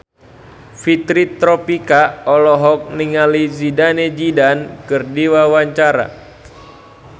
Fitri Tropika olohok ningali Zidane Zidane keur diwawancara